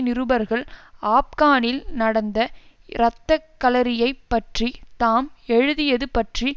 நிருபர்கள் ஆப்கானில் நடந்த இரத்தக்களரியைப் பற்றி தாம் எழுதியது பற்றி